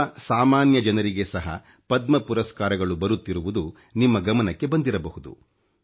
ತುಂಬಾ ಸಾಮಾನ್ಯ ಜನರಿಗೆ ಸಹ ಪದ್ಮ ಪುರಸ್ಕಾರಗಳು ಬರುತ್ತಿರುವುದು ನಿಮ್ಮ ಗಮನಕ್ಕೆ ಬಂದಿರಬಹುದು